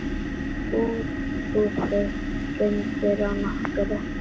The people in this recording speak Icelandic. Útihús hrundu á nokkrum bæjum.